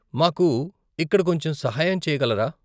మాకు ఇక్కడ కొంచెం సహాయం చేయగలరా?